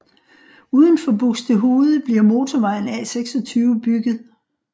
Uden for Buxtehude bliver motorvejen A26 bygget